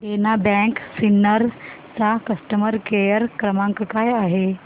देना bank Sinnar चा customer care क्रमांक काय आहे